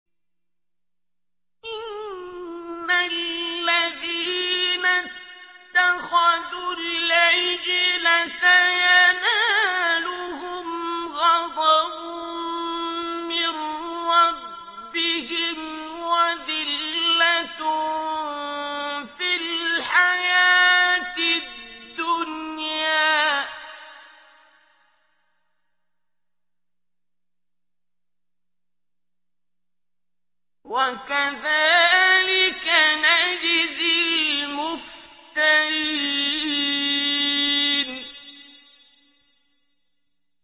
إِنَّ الَّذِينَ اتَّخَذُوا الْعِجْلَ سَيَنَالُهُمْ غَضَبٌ مِّن رَّبِّهِمْ وَذِلَّةٌ فِي الْحَيَاةِ الدُّنْيَا ۚ وَكَذَٰلِكَ نَجْزِي الْمُفْتَرِينَ